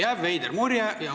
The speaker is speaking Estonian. Jääb veider mulje.